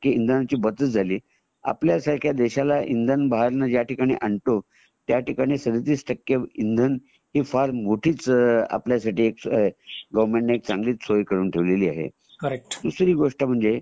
इंधनाची बचत झाली . आपल्यासारख्या देशाला जो इंधन बाहेरून जया ठिकाणी आणतो त्या ठिकाणी टक्के सदतीस टक्के इंधन मोठीच आपल्यासाठी गोवेरमेन्ट ने एक चांगलीच आपल्यासाठी चांगलीच सोय करून ठेवलेली आहे दुसरी गोष्ट म्हणजे